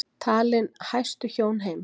Talin hæstu hjón heims